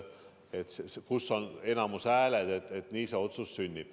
Otsus sünnib enamushäältega.